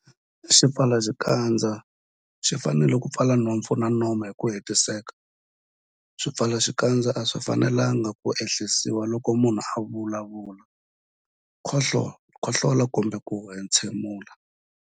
Xipfalaxikandza xi fanele ku pfala nhompfu na nomo hi ku hetiseka. Swipfalaxikandza a swi fanelanga ku ehlisiwa loko munhu a vulavula, khohlola kumbe ku entshemula.